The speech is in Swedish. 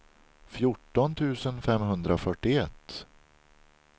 fjorton tusen femhundrafyrtioett